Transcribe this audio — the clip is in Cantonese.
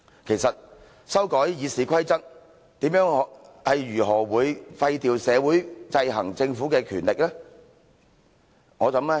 其實修改《議事規則》如何廢掉社會制衡政府的權力呢？